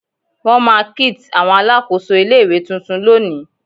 Won ma kids Awon Alakoso ile-iwe tuntun loni